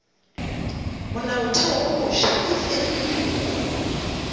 molaotheo wo mofsa e fegilwe